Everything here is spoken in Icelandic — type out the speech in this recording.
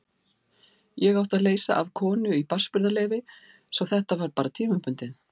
Ég átti að leysa af konu í barnsburðarleyfi svo þetta var bara tímabundið.